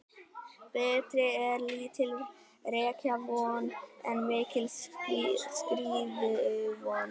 Betri er lítil rekavon en mikil skriðuvon.